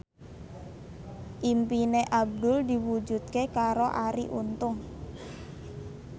impine Abdul diwujudke karo Arie Untung